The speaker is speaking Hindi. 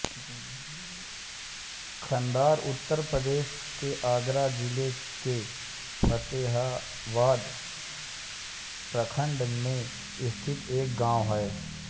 खंदार उत्तर प्रदेश के आगरा जिले के फ़तेहाबाद प्रखंड में स्थित एक गाँव है